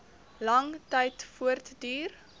lang tyd voortduur